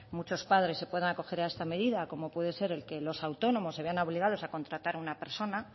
muchos padres se puedan acoger a esta medida como puede ser el que los autónomos se vean obligados a contratar una persona